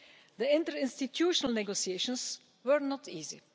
The interinstitutional negotiations were not easy.